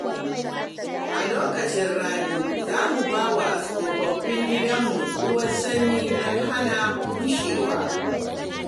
A lokacin rani, za mu ba wa tsofaffin gidanmu ruwan sanyi don hana bushewa.